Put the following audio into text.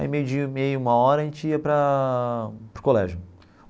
Aí meio dia, meia, uma hora, a gente ia para para o colégio.